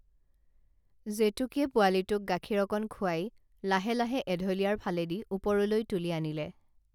জেতুকীয়ে পোৱালীটোক গাখীৰ অকণ খুৱাই লাহে লাহে এঢলীয়াৰ ফালেদি ওপৰলৈ তুলি আনিলে